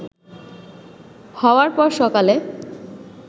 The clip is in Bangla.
হওয়ার পর সকালে